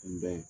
Tun bɛ yen